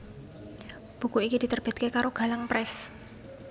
Buku iki diterbitake karo Galang Press